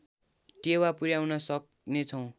टेवा पुर्‍याउन सक्नेछौँ